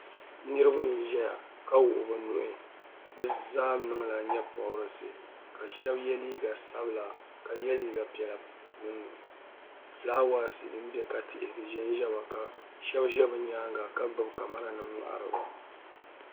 niraba n ʒɛya ka wuhi bi nuhi bi zaa niŋla nyɛ pobirisi ka shab yɛ liiga sabila ka yɛ liiga piɛla gbunni fulaawaasi din bɛ ka tihi di ʒɛnʒɛmi ka shab ʒɛ bi nyaanga ka gbuni kamɛra nim n ʒɛ n ŋmahariba